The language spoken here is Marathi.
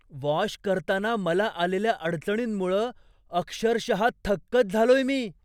वॉश करताना मला आलेल्या अडचणींमुळं अक्षरशः थक्कच झालोय मी!